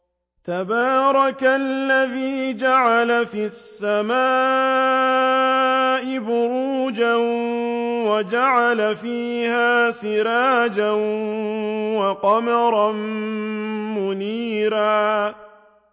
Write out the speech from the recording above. تَبَارَكَ الَّذِي جَعَلَ فِي السَّمَاءِ بُرُوجًا وَجَعَلَ فِيهَا سِرَاجًا وَقَمَرًا مُّنِيرًا